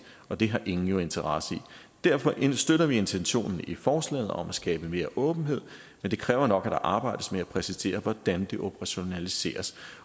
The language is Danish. og det har ingen jo interesse i derfor støtter vi intentionen i forslaget om at skabe mere åbenhed men det kræver nok at der arbejdes med at præcisere hvordan det operationaliseres